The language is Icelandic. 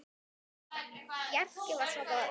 Bjarki var svo góður.